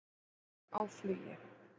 Skúmur á flugi.